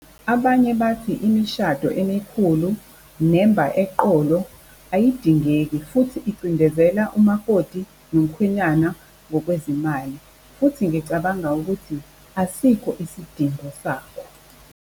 Abanye bathi imishado emikhulu nemba eqolo ayidingeki, futhi icindezela umakoti nomkhwenyana ngokwezimali. Futhi ngicabanga ukuthi asikho isidingo sakho.